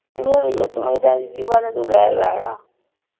ਇਸੇ ਬਹਾਨੇ ਤੂੰ ਲੈ ਆਇਆ